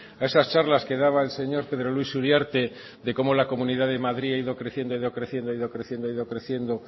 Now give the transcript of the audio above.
a esas charlas que daba el señor pedro luis uriarte de cómo la comunidad de madrid ha ido creciendo ha ido creciendo ha ido creciendo ha ido creciendo